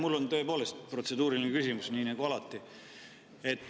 Mul on tõepoolest protseduuriline küsimus nii nagu alati.